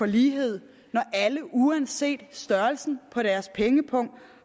lighed når alle uanset størrelsen af deres pengepung